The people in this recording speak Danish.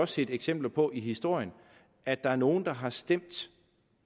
set eksempler på i historien at der er nogle der har stemt